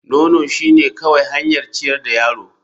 Nono shine kawai hanyar ciyar da yaro.